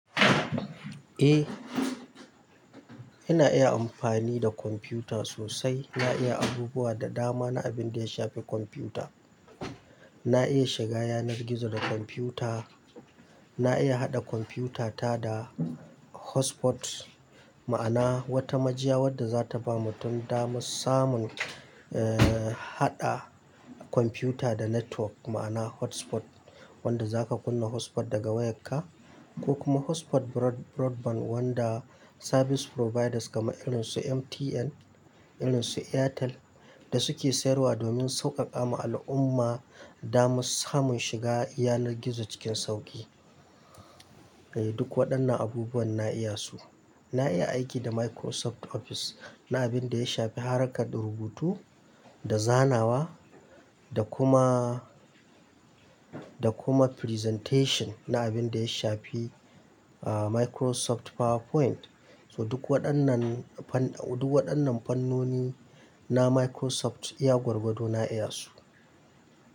Eh, ina iya amfani da kwamfuta sosai. Na iya abubuwa da dama na abin da ya shafi kwamfuta. Na iya shiga yanar gizo da kwamfuta. Na iya haɗa kwamfutata da hotspot, ma'ana wata majiya wadda za ta ba mutun daman samun, eh, haɗa kwamfuta da network ma'ana hotspot wanda zaka kunna hotspot daga wayarka ko kuma hotspot broadband wanda service providers kamar irin su MTN, irin su Airtel da suke sayarwa domin sauƙaƙa ma al'umma daman samun shiga yanar gizo cikin sauƙi. Eh, duk waɗannan abubuwan na iya su. Na iya aiki da Microsoft Office na abin da ya shafi harkar rubutu da zanawa da kuma, da kuma presentation na abin da ya shafi, aah, Microsoft PowerPoint. So duk waɗannan fan-- duk waɗannan fannoni na Microsoft iya gwargwado na iya su.